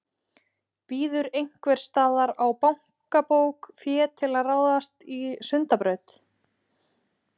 Bíður einhvers staðar á bankabók fé til að ráðast í Sundabraut?